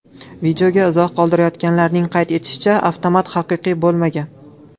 Videoga izoh qoldirganlarning qayd etishicha, avtomat haqiqiy bo‘lmagan.